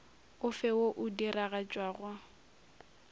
o fe wo o diragatšwago